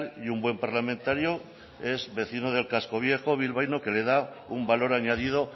y un buen parlamentario es vecino del casco viejo bilbaíno que le da un valor añadido